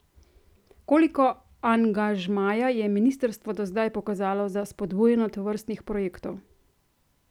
Koliko angažmaja je ministrstvo do zdaj pokazalo za spodbujanje tovrstnih projektov?